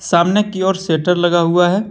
सामने की और शटर लगा हुआ है।